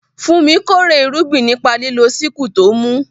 Funmi kórè irúgbìn nípa lílo sickle tó mú.